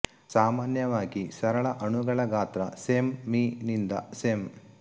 ಸಾಮಾನ್ಯವಾಗಿ ಸರಳ ಅಣುಗಳ ಗಾತ್ರ ಸೆಂ ಮೀ ನಿಂದ ಸೆಂ